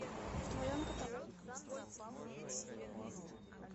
в твоем каталоге есть тридцать первая серия я зомби